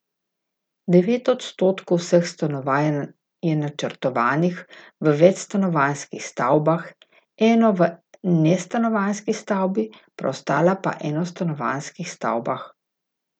Devet odstotkov vseh stanovanj je načrtovanih v večstanovanjskih stavbah, eno v nestanovanjski stavbi, preostala pa v enostanovanjskih stavbah.